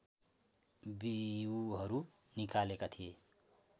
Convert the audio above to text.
बिउहरू निकालेका थिए